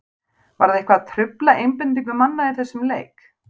Var það eitthvað að trufla einbeitingu manna í þessum leik?